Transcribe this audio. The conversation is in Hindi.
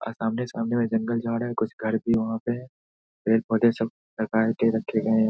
और सामने-सामने में जंगल झाड़ है कुछ घर भी वहाँ पे है पेड़-पौधे सब के रखे गए हैं।